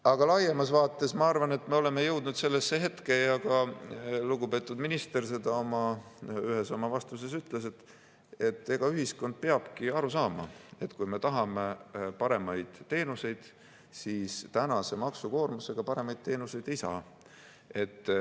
Aga laiemas vaates ma arvan, et me oleme jõudnud sellesse hetke, ja ka lugupeetud minister seda ühes oma vastuses ütles, et ühiskond peab aru saama, et kui me tahame paremaid teenuseid, siis tänase maksukoormusega paremaid teenuseid ei saa.